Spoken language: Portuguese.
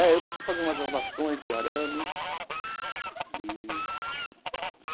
É, eu preciso fazer umas lavações de arame e.